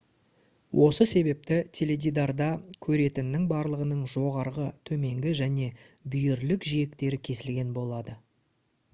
осы себепті теледидарда көретіннің барлығының жоғарғы төменгі және бүйірлік жиектері кесілген болады